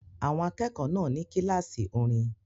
Àwọn akẹ́kọ̀ọ́ náà ní kíláàsì orin